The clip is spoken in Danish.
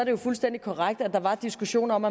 jo fuldstændig korrekt at der var diskussion om